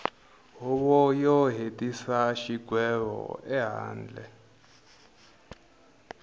huvo yo hetisa xigwevo ehandle